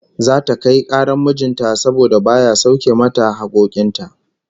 Zata kai karar mijin ta saboda baya sauke mata hakkokin ta